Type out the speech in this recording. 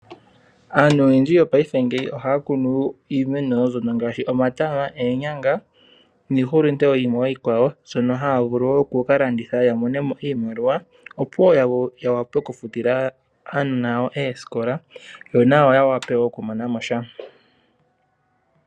Aantu oyendji yopaife ngeyi ohaa kunu iimeno mbyono ngaashi omatama, oonyanga niihulunde wo yimwe iikwawo mbyono ha vulu wo oku ka landitha ya monemo iimaliwa, opo wo ya wape okufutila aanona yawo oosikola yo nawa ya wape wo okumona mo sha.